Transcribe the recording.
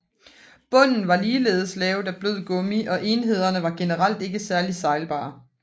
Bunden var ligeledes lavet af blød gummi og enhederne var generelt ikke særligt sejlbare